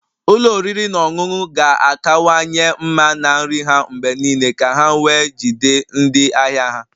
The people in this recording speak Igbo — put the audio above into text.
Ụlọ oriri na ọṅụṅụ ga-akawanye mma na nri ha mgbe niile ka ha wee jide ndị ahịa ha